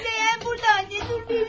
Süleğen burda, anne, dur verim sənə.